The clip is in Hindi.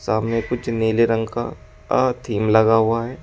सामने कुछ नीले रंग का अ थीम लगा हुआ है।